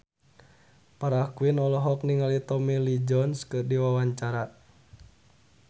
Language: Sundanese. Farah Quinn olohok ningali Tommy Lee Jones keur diwawancara